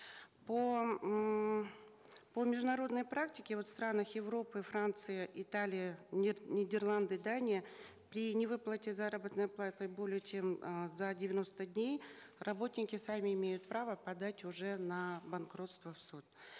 по ммм по международной практике вот в странах европы франция италия нидерланды дания при невыплате заработной платы более чем а за девяносто дней работники сами имеют право подать уже на банкротство в суд